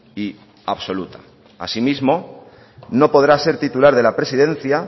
y absoluta asimismo no podrá ser titular de la presidencia